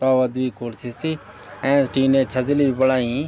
तौला द्वि कुर्सी सि एैंच टीने छजलि भी बणयीं।